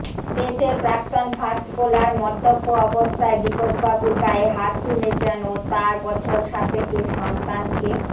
দেশের প্রাক্তন fast bowler মদ্য়প অবস্থায় দীপকবাবুর গায়ে হাত তুলেছেন ও তাঁর বছর সাতেকের সন্তানকে